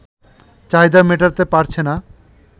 চাহিদা মেটাতে পারছে না